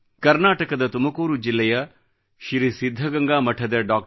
ಕರ್ನಾಟಕದ ತುಮಕೂರು ಜಿಲ್ಲೆಯ ಶ್ರೀ ಸಿದ್ಧಗಂಗಾ ಮಠದ ಡಾ